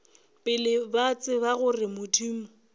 pele ba tseba gore modimo